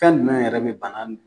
Kan jumɛn yɛrɛ be bana